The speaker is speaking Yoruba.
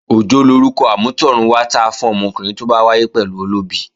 Òjó lorúkọ amútọ̀run wá ta fún ọmọkùnrin tó bá wáyé pẹ̀lú olóbi